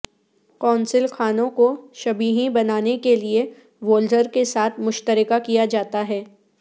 قونصل خانوں کو شبیہیں بنانے کے لئے وولز کے ساتھ مشترکہ کیا جاتا ہے